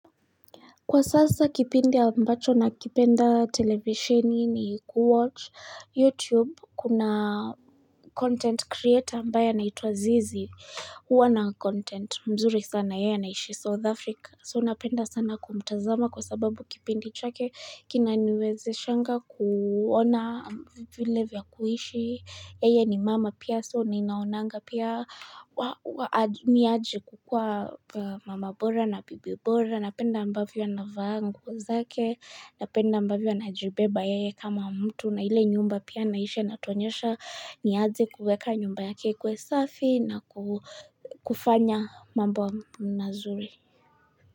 Kwa sasa kipindi ambacho nakipenda televisheni ni kuwatch YouTube, kuna content creator ambaya anaitwa Zizi, huwa na content mzuri sana yeye anaishi South Africa. So napenda sana kumtazama kwa sababu kipindi chake kinaniwezeshanga kuona vile vya kuishi. Yeye ni mama pia so ninaonanga pia ni aje kukuwa mama bora na bibi bora. Napenda ambavyo anavaa nguo zake. Napenda ambavyo anajibeba yeye kama mtu. Na ile nyumba pia anaishi anatuonyesha ni aje kuweka nyumba yake ikuwe safi na kufanya mambo mazuri.